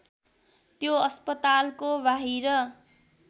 त्यो अस्पतालको बाहिर